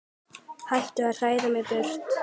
Hættu að hræða mig burt.